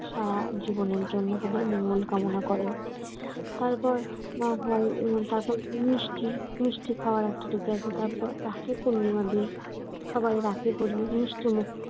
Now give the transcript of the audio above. সারা জীবনের জন্য তাদের মঙ্গল কামনা করেন তারপর তারপর মিষ্টি মিষ্টি খাওয়ার একটা তারপর রাখি পূর্ণিমার দিন সবাই রাখি পরিয়ে মিষ্টিমুখ